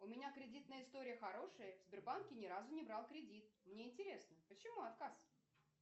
у меня кредитная история хорошая в сбербанке ни разу не брал кредит мне интересно почему отказ